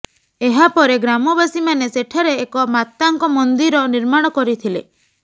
ଏହା ପରେ ଗ୍ରାମବାସୀମାନେ ସେଠାରେ ଏକ ମାତାଙ୍କ ମନ୍ଦିର ନିର୍ମାଣ କରିଥିଲେ